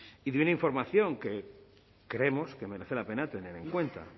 y dio una información que creemos que merece la pena tener en cuenta